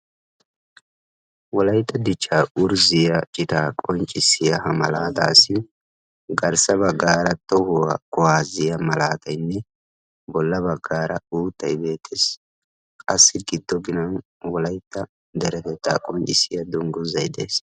Wolaytta dichcha qonccissiya malaattassi dumma dumma wolaytta qonccissiya malatayinne qassikka garssara wolaytta qonccissiya dungguzzay de'ees.